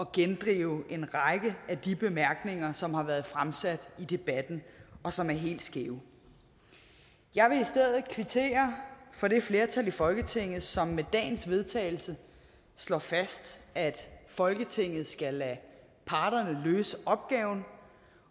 gendrive en række af de bemærkninger som har været fremsat i debatten og som er helt skæve jeg vil i stedet kvittere for det flertal i folketinget som med dagens vedtagelse slår fast at folketinget skal lade parterne løse opgaven